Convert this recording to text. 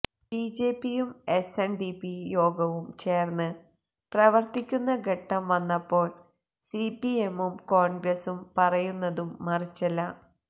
ബിജെപിയും എസ്എന്ഡിപി യോഗവും ചേര്ന്ന് പ്രവര്ത്തിക്കുന്ന ഘട്ടം വന്നപ്പോള് സിപിഎമ്മും കോണ്ഗ്രസും പറയുന്നതും മറിച്ചല്ല